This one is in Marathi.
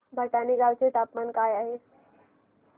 भटाणे गावाचे तापमान काय आहे